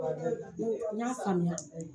N ko y'a faamuya